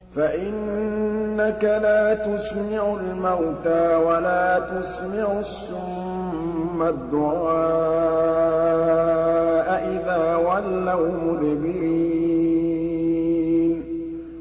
فَإِنَّكَ لَا تُسْمِعُ الْمَوْتَىٰ وَلَا تُسْمِعُ الصُّمَّ الدُّعَاءَ إِذَا وَلَّوْا مُدْبِرِينَ